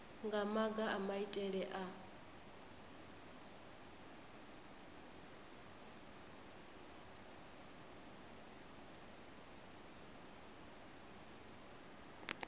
nga maga a maitele a